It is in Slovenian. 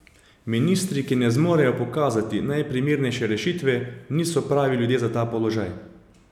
Ministri, ki ne zmorejo pokazati najprimernejše rešitve, niso pravi ljudje za ta položaj.